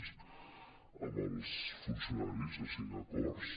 amb els funcionaris a cinc acords